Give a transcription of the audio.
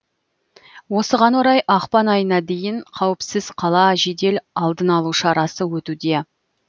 осыған орай ақпан айына дейін қауіпсіз қала жедел алдын алу шарасы өтуде